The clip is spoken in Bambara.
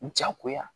Jagoya